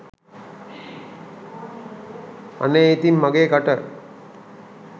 අනේ ඉතින් මගේ කට